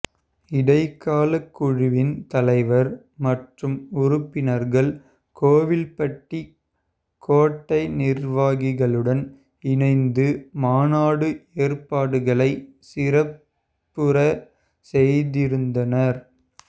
இடைக்கால குழுவின் தலைவர் மற்றும் உறுப்பினர்கள் கோவில்பட்டி கோட்ட நிர்வாகிகளுடன் இணைந்து மாநாடு ஏற்பாடுகளை சிறப்புற செய்திருந்தனர்